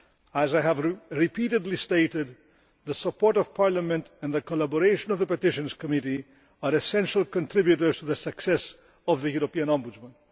As I have repeatedly stated, the support of Parliament and the collaboration of the Petitions Committee are essential contributors to the success of the European Ombudsman.